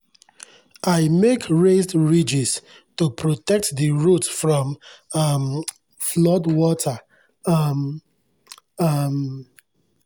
i make raised ridges to protect the root from um flood water um. um